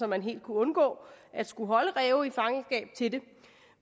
man helt kunne undgå at skulle holde ræve i fangenskab til det